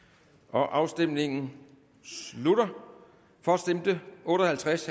afstemningen slutter for stemte otte og halvtreds